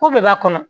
Ko bɛɛ b'a kɔnɔ